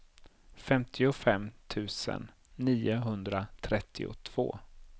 femtiofem tusen niohundratrettiotvå